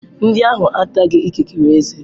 Ndị ahụ ataghị ikikere ezé.